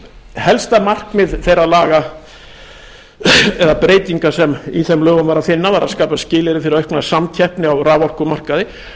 helsta markmið þeirra laga eða breytinga sem í þeim lögum var að finna var að skapa skilyrði fyrir aukna samkeppni á raforkumarkaði það